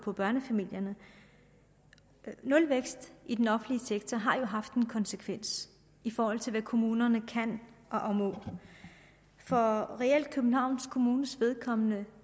for børnefamilierne nulvæksten i den offentlige sektor har jo haft en konsekvens i forhold til hvad kommunerne kan og må for københavns kommunes vedkommende